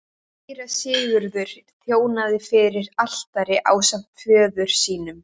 Síra Sigurður þjónaði fyrir altari ásamt föður sínum.